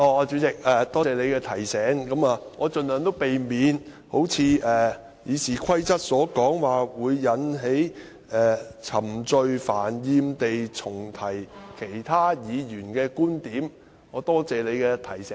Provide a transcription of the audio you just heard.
主席，多謝你的提醒，我盡量避免如《議事規則》所訂，"冗贅煩厭地重提本身或其他議員的論點"，多謝主席的提醒。